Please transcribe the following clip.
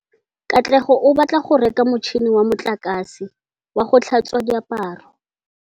Katlego o batla go reka motšhine wa motlakase wa go tlhatswa diaparo.